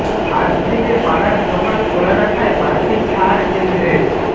আজ থেকে পাড়ার দোকান খোলা রাখায় বাড়তি ছাড় কেন্দ্রের